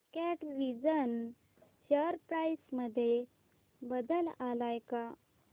कॅटविजन share price मध्ये बदल आलाय का